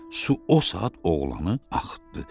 Su o saat oğlanı axıtdı.